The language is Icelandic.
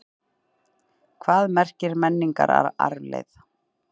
Hvað merkir menningararfleifð?